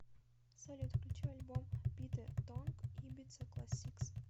салют включи альбом питэ тонг ибица классикс